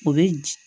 O bɛ di